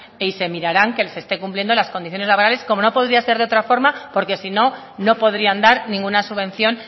y se mirarán que se estén cumpliendo las condiciones laborales como no podía ser de otra forma porque si no no podrían dar ninguna subvención